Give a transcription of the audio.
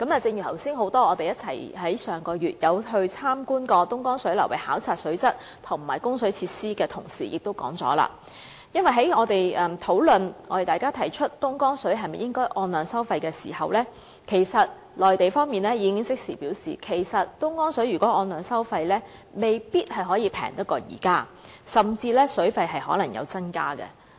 正如剛才很多在上個月曾一起前往東江流域，考察水質和供水設施的同事所提到，在討論應否就東江水的供應按量收費時，內地方面已即時表示，如就東江水按量收費，水價未必較現在便宜，甚至可能會有所增加。